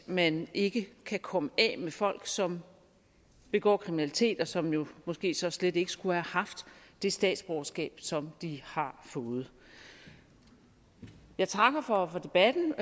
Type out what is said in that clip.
man ikke kan komme af med folk som begår kriminalitet og som jo måske så slet ikke skulle have haft det statsborgerskab som de har fået jeg takker for debatten